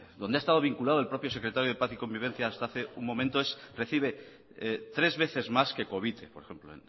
donde ha estado vinculado el propio secretario de paz y convivencia hasta hace un momento recibe tres veces más que covite por ejemplo